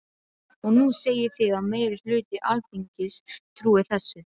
Og nú segið þið að meiri hluti Alþingis trúi þessu.